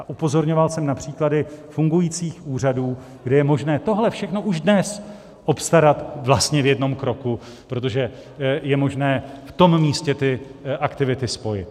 A upozorňoval jsem na příklady fungujících úřadů, kde je možné tohle všechno už dnes obstarat vlastně v jednom kroku, protože je možné v tom místě ty aktivity spojit.